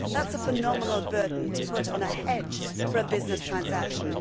that is a phenomenal burden to put on a hedge for a business transaction.